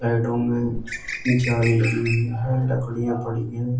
Slide room है। जाल लगी हुई है। लकड़ियां पड़ी हुई हैं।